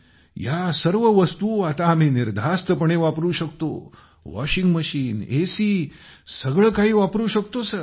या सर्व वस्तु आता आम्ही निर्धास्तपणे वापरू शकतो वॉशिंग मशीन एसी सगळे काही वापरू शकतोसर